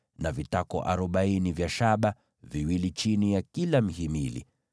na vitako arobaini vya fedha, viwili chini ya kila mhimili.